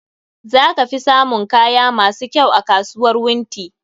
Za ka fi samun kaya masu kyau a kasuwar Wunti.